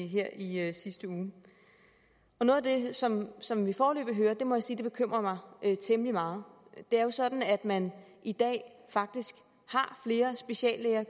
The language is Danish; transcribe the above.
her i sidste uge noget af det som som vi foreløbig hører må jeg sige bekymrer mig temmelig meget det er jo sådan at man i dag faktisk har flere speciallæger